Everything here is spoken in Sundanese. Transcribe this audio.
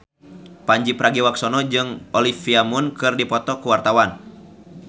Pandji Pragiwaksono jeung Olivia Munn keur dipoto ku wartawan